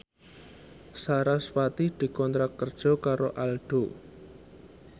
sarasvati dikontrak kerja karo Aldo